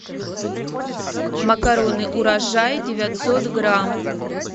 макароны урожай девятьсот грамм